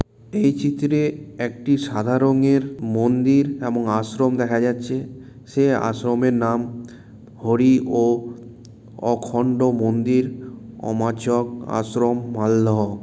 এই চিত্রে একটি সাদা রঙের মন্দির এবং আশ্রম দেখা যাচ্ছে সে আশ্রমের নাম হরি ও অখন্ড মন্দির অমাচক আশ্রম মালদহ।